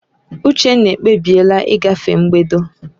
Uchenna ekpebiela ịgafe mbedo